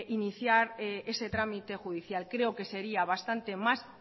iniciar ese trámite judicial creo que sería bastante más